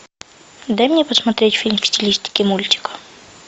дай мне посмотреть фильм в стилистике мультика